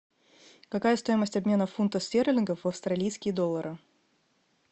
какая стоимость обмена фунтов стерлингов в австралийские доллары